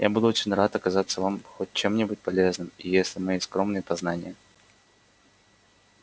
я буду очень рад оказаться вам хоть чем-нибудь полезным и если мои скромные познания